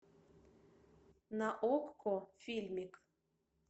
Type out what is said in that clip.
на окко фильмик